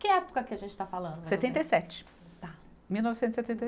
Que época que a gente está falando? Setenta e sete. Tá. Mil novecentos e setenta e